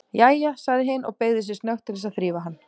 Jæja, sagði hin og beygði sig snöggt til þess að þrífa hann.